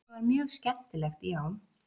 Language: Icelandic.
Þetta var mjög skemmtilegt já.